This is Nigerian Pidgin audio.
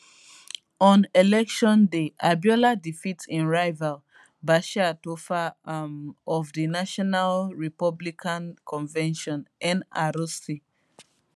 on election day abiola defeat im rival bashir tofa um of di national republican convention nrc